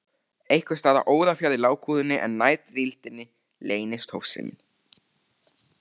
Einhvers staðar órafjarri lágkúrunni, en nær drýldninni, leynist hófsemin.